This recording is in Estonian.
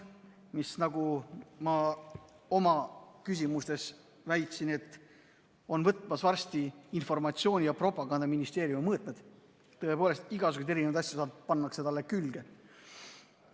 See võtab, nagu ma oma küsimustes väitsin, varsti informatsiooni- ja propagandaministeeriumi mõõtmed, sest tõepoolest, igasuguseid erinevaid asju saab panna talle külge.